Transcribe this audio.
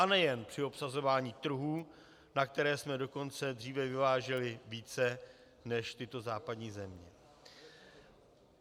A nejen při obsazování trhů, na které jsme dokonce dříve vyváželi více než tyto západní země.